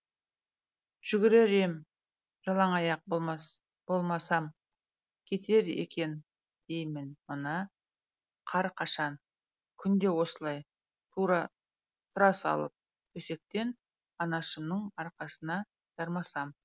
жүгірер ем жалаңаяқ болмасам кетер екен деймін мына қар қашан күнде осылай тұра салып төсектен анашымның арқасына жармасам